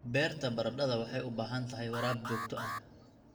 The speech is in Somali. Beerta baradhada waxay u baahan tahay waraab joogto ah.